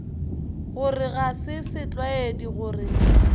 gore ga se setlwaedi gore